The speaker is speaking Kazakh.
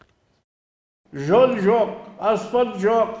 жол жоқ аспан жоқ